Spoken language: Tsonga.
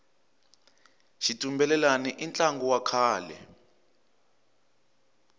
xitumbelelani i ntlangu wa kahle